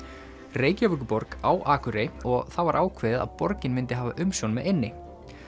Reykjavíkurborg á Akurey og það var ákveðið að borgin myndi hafa umsjón með eynni